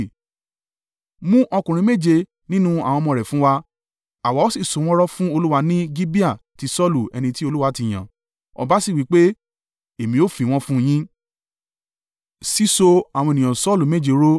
Mú ọkùnrin méje nínú àwọn ọmọ rẹ̀ fún wá, àwa ó sì so wọ́n rọ̀ fún Olúwa ní Gibeah ti Saulu ẹni tí Olúwa ti yàn.” Ọba sì wí pé, “Èmi ó fi wọ́n fún yín.”